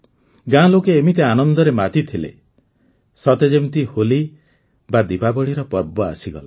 ଗାଁ ଲୋକେ ଏମିତି ଆନନ୍ଦରେ ମାତିଥିଲେ ସତେ ଯେମିତି ହୋଲି ବା ଦୀପାବଳୀର ପର୍ବ ଆସିଗଲା